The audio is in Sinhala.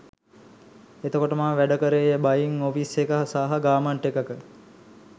එතකොට මම වැඩකරේ බයින් ඔෆිස් එකක සහ ගාර්මන්ට් එකක